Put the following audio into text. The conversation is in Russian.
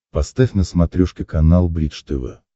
поставь на смотрешке канал бридж тв